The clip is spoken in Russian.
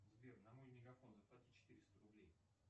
сбер на мой мегафон заплати четыреста рублей